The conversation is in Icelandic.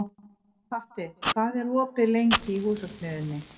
Patti, hvað er opið lengi í Húsasmiðjunni?